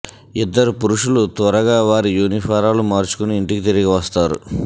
ఇద్దరు పురుషులు త్వరగా వారి యూనిఫారాలుగా మార్చుకొని ఇంటికి తిరిగి వస్తారు